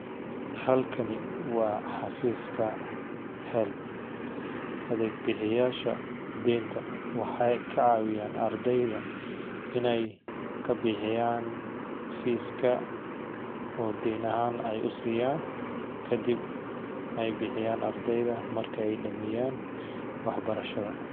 Halkani waa xafiiska helb adeeg bixiyasha deenta waxeey kacawiyaan ardeyda inaay bixiyaan fiiska kadib aay bixiyaan ardeyda markeey dameeyan wax barashada.